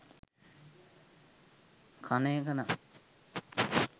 කන එක නම්